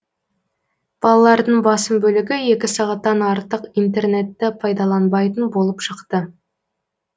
балалардың басым бөлігі екі сағаттан артық интернетті пайдаланбайтын болып шықты